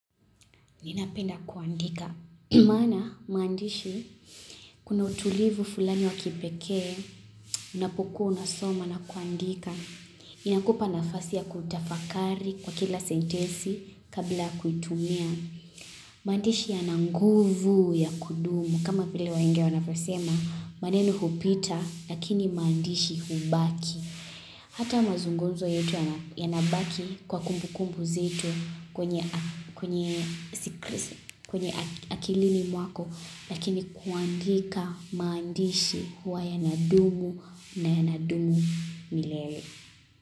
Ninapenda kuandika. Maana, maandishi, kuna utulivu fulani wa kipekee, unapokuwa unasoma na kuandika. Inakupa nafasi ya kutafakari kwa kila sentesi kabla ya kuitumia. Maandishi yana nguvu ya kudumu. Kama vile wahenga wanavyosema, maneno hupita, lakini maandishi hubaki. Hata mazungumzo yetu yanabaki kwa kumbukumbu zetu kwenye kwenye akilini mwako lakini kuandika maandishi huwa yanadumu na yanadumu milele.